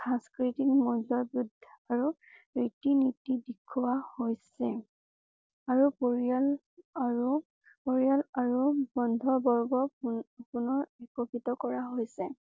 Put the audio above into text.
সংকৃতিক মৰ্যদা আৰু ৰীতি নীতি দেখুওৱা হৈছে। আৰু পৰিয়াল আৰু পৰিয়াল আৰু বন্ধু বৰ্গক পনপুনৰ এককৃত কৰা হৈছে।